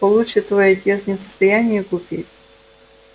получше твой отец не в состоянии купить